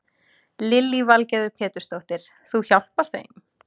Lillý Valgerður Pétursdóttir: Þú hjálpar þeim?